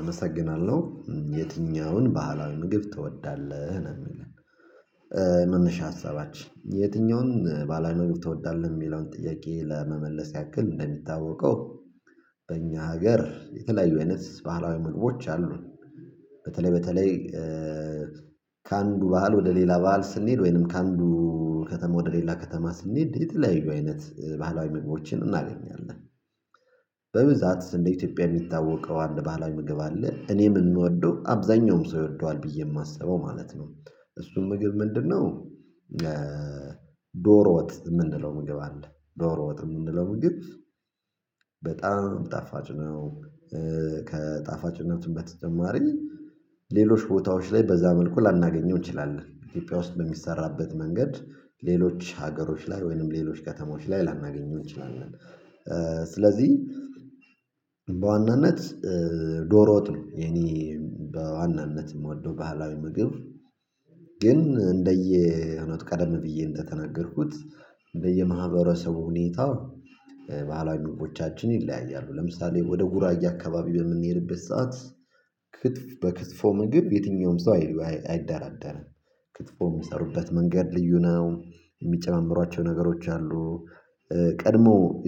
አመሰግናለሁ የትኛውን ባህላዊ ምግብ ትወዳለህ ነው የሚለው? መነሻ ሐሳባችን የትኛውን ባህላዊ ምግብ ትወዳለህ የሚለውን ጥያቄ ለመመለስ ያክል እንደሚታወቀው በእኛ ሀገር የተለያዩ አይነት ባህላዊ ምግቦች አሉ። በተለይ በተለይ ከአንዱ ባህል ወደ ሌላ ባህል ስንሄድ ወይንም ከአንዱ ከተማ ወደ ሌላ ከተማ ስንሄድ የተለያዩ አይነት ባህላዊ ምግቦችን እናገኛለን። በብዛት እንደ ኢትዮጵያ የሚታወቀው አንድ ባህላዊ ምግብ አለ እኔ ምን የምወደው አብዛኛውም ሰው ይወደዋል ብዬ የማስበው ማለት ነው። እሱም ምግብ ምንድንነው? ዶሮ ወጥ የምንለው ምግብ አለ ዶሮ ወጥ የምንለው ምግብ በጣም ጣፋጭ ነው። ከጣፋጭነቱም በተጨማሪ ሌሎች ቦታዎች ላይ በዛ መልኩ ላናገኘው እንችላለን ኢትዮጵያ ውስጥ በሚሰራበት መንገድ ሌሎች ሀገሮች ላይ ወይንም ሌሎች ከተማዎች ላይ ላናገኘው እንችላለን። ስለዚህ በዋናነት ዶሮ ወጥ ነው። የኔ በዋናነት የምወደው ባህላዊ ምግብ ግን እንደየ እምነቱ ቀደም ብዬ እንደተነገርኩት በየማህበረሰቡ ሁኔታ ባህላዊ ምግቦቻችን ይለያያሉ። ለምሳሌ ወደ ጉራጌ አካባቢ በምንሄድበት ሰዓት ክትፍ በክትፎ ምግብ የትኛውም ሰው አይሉ አይደራደርም። ክትፎ የሚሰሩበት መንገድ ልዩ ነው። የሚጨማምሯቸው ነገሮች አሉ።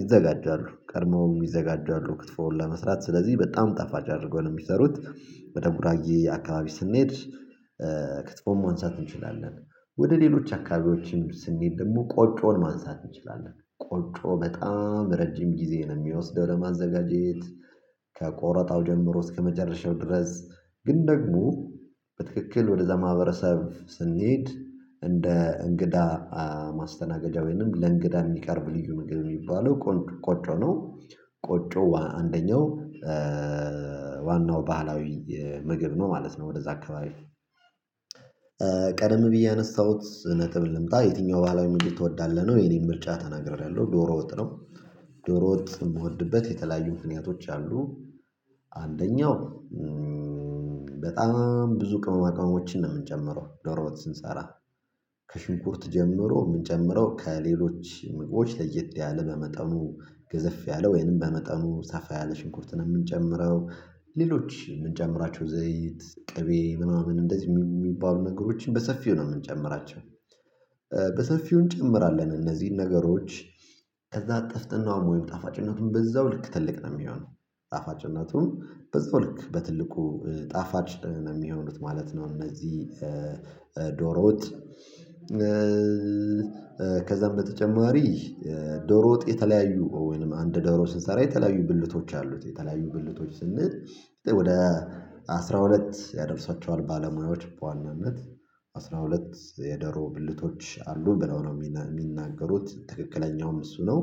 ይዘጋጃሉ ቀድሞው ይዘጋጃሉ ክትፎውን ለመስራት ስለዚህ በጣም ጠፋጭ አድርገው ነው የሚሰሩት። ወደ ጉራጌ አካባቢ ስንሄድ ክትፎን ማንሳት እንችላለን። ወደ ሌሎች አካባቢዎችም ስንሄድ ደግሞ ቆጮን ማንሳት እንችላለን ቆጮ በጣም ረጅም ጊዜ ነው የሚወስደው ለማዘጋጀት። ከቆረጣው ጀምሮ እስከመጨረሻው ድረስ ግን ደግሞ በትክክል ወደዛ ማህበረሰብ ስንሄድ እንደ እንግዳ ማስተናገጃ ወይንም ለእንግዳ የሚቀርብ ልዩ ምግብ የሚባለው ቆን ቆጮ ነው። ቆጮ አንደኛው ዋናው ባህላዊ ምግብ ነው ማለት ነው። ወደዛ አካባቢ ቀደም ብዬ ያነሳሁት ነጥብ ልምጣ የትኛው ባህላዊ ትወዳለህ ነው የእኔን ምርጫ ተናግሬአለሁ። ዶሮ ወጥ ነው። ዶሮ ወጥ የምወድበት የተለያዩ ምክንያቶች አሉ። አንደኛው በጣም ብዙ ቅመማቅመሞችን ነው የምንጨምረው ዶሮ ወጥ ስንሰራ። ከሽንኩርት ጀምሮ የምንጨምረው ከሌሎች ምግቦች ለየት ያለ በመጠኑ ገዘፍ ያለ ወይንም በመጠኑ ሰፋ ያለ ሽንኩርትን ነው የምንጨምረው። ሌሎች የምንጨምራቸው ዘይት ቅቤ ምናምን እንደዚህ የሚባሉ ነገሮችን በሰፊው ነው የምንጨምራቸው። በሰፊው እንጨምራለን እነዚህን ነገሮች ከዛ ጥፍጥናውም ወይም ጣፋጭነቱን በዛው ልክ ትልቅ ነው የሚሆነው። ጣፋጭነቱም በዛው ልክ በትልቁ ጣፋጭ ነው የሚሆኑት ማለት ነው። እነዚህ ዶሮወጥ ከዛም በተጨማሪ ዶሮ ወጥ የተለያዩ ወይንም አንድ ዶሮ ስንሰራ የተለያዩ ብልቶች አሉት የተለያዩ ብልቶች ስንል ወደ አስራ ሁለት ያደርሷቸዋል ባለሙያዎች በዋናነት አስራ ሁለት የደሮ ብልቶች አሉ ብለው ነው የሚናገሩት ትክክለኛውም እሱ ነው።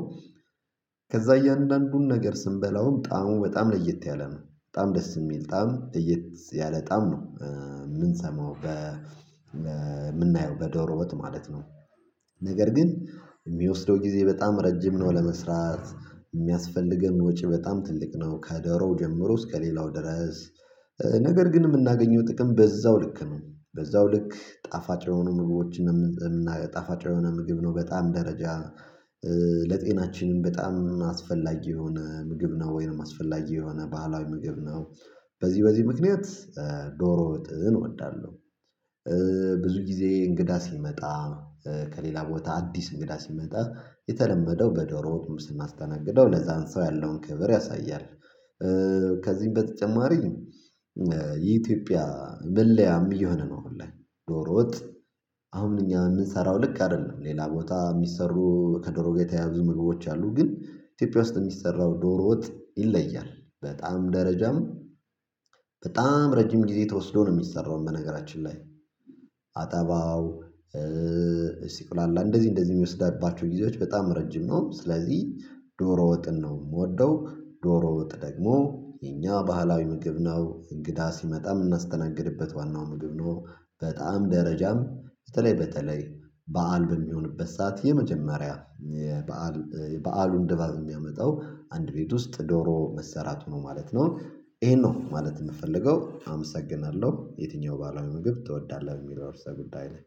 ከዛ እያንዳንዱን ነገር ስንበላውም ጣዕሙ በጣም ለየት ያለ ነው በጣም ደስ የሚል ጣዕም ለየት ያለ ጣዕም ነው የምንሰማው በ በምናየው በዶሮ ወጥ ማለት ነው። ነገር ግን የሚወስደው ጊዜ በጣም ረጅም ነው ለመስራት። የሚያስፈልገን ወጪ በጣም ትልቅ ነው ከደሮው ጀምሮ እስከ ሌላው ድረስ። ነገር ግን የምናገኘው ጥቅም በዛው ልክ ነው በዛው ልክ ጣፋጭ የሆኑ ምግቦችን የምና ጣፋጭ የሆነ ምግብ ነው በጣዕም ደረጃ ለጤናችንም በጣም አስፈላጊ የሆነ ምግብ ነው ወይንም አስፈላጊ የሆነ ባህላዊ ምግብ ነው። በዚህ በዚህ ምክንያት ዶሮ ወጥን እወዳለሁ። ብዙ ጊዜ እንግዳ ሲመጣ ከሌላ ቦታ አዲስ እንግዳ ሲመጣ የተለመደው በደሮወጥም ስናስተናግደው ለዛን ሰው ያለውን ክብር ያሳያል። ከዚህም በተጨማሪም የኢትዮጵያ መለያም እየሆነ ነው አሁን ላይ ደሮ ወጥ። አሁን እኛ የምንሰራው ልክ አይደለም ሌላ ቦታ የሚሰሩ ከደሮ ጋ የተያያዙ ምግቦች አሉ ግን ኢትዮጵያ ውስጥ የሚሰራው ዶሮ ወጥ ይለያል። በጣዕም ደረጃም በጣም ረጅም ጊዜ ተወስዶ ነው የሚሰራው በነገራችን ላይ። አጠባው ሲቁላላ እንደዚህ እንደዚህ የሚወስዳባቸው ጊዜዎች በጣም ረጅም ነው። ስለዚህ ዶሮ ወጥን ነው የምወደው። ዶሮ ወጥ ደግሞ የኛ ባህላዊ ምግብ ነው እንግዳ ሲመጣ የምናስተናግድበት ዋናው ምግብ ነው። በጣዕም ደረጃም በተለይ በተለይ በዓል በሚሆንበት ሰዓት የመጀመሪያ በዓል የበዓሉን ድባብ የሚያመጣው አንድ ቤት ውስጥ ዶሮ መሠራቱ ነው ማለት ነው። ይሄን ነው ማለት የምፈልገው አመሰግናለሁ የትኛው ባህላዊ ምግብ ትወዳለህ በሚለው የርዕሰ ጉዳይ ላይ